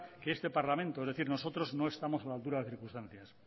que este parlamento es decir nosotros no estamos a la altura de las circunstancias